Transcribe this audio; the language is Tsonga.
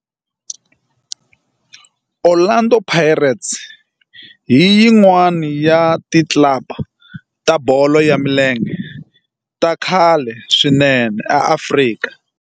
Orlando Pirates i yin'wana ya ti club ta bolo ya milenge ta khale swinene ta Afrika.